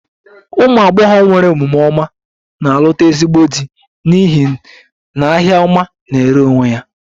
Umu agbogho nwere omume ọma na-alụta ezigbo di n'ihi n'ahia ọma na-ere onwe ya